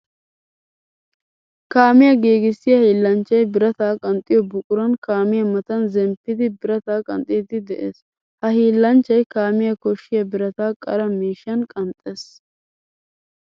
Kaamiya giigissiya hiilanchchay birata qanxxiyo buquran kaamiya matan zemppiddi birata qanxxiddi de'ees. Ha hiillanchchay kaamiyawu koshiya birata qara miishshan qanxxes.